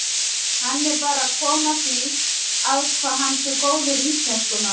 Hann er bara að koma því að hvað hann sé góður íslenskumaður.